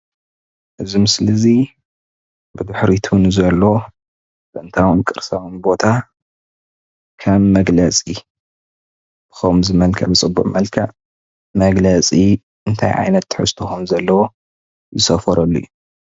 እዚ ምስሊ እዚ ብድሕሪቱ ንዘሎ ጥንታውን ቅርሳውን ቦታ ከም መግለፂ ብከምዚ መልክዕ ፅሁቕ መልክዕ እንታይ ዓይነት ትሕዝቶ ከም ዘለዎ ዝሰፈረሉ እዩ፡፡